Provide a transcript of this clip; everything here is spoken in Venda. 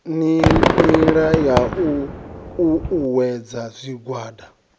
nila ya u uuwedza zwigwada